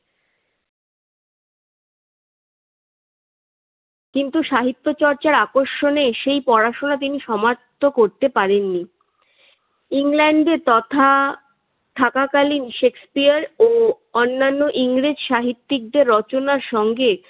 কিন্তু সাহিত্য চর্চার আকর্ষণে তিনি সেই পড়াশোনা সমাপ্ত করতে পারেন নি। ইংল্যন্ডে তথা থাকাকালীন সেকসপিয়ার ও অন্যান্য ইংরেজ সাহিত্যিকদের রচনার সঙ্গে